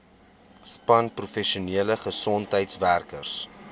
span professionele gesondheidswerkers